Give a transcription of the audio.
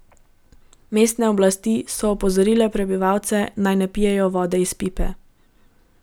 Mestne oblasti so opozorile prebivalce, naj ne pijejo vode iz pipe.